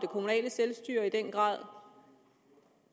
kommunale selvstyre i den grad